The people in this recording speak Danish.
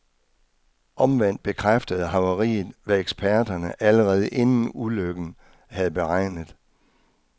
Omvendt bekræftede havariet, hvad eksperterne allerede inden ulykken havde beregnet.